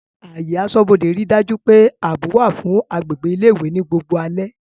Ààyè aṣọ́bodè rí dájú pé ààbò wà fún agbègbè ilé ìwé ní gbogbo alẹ́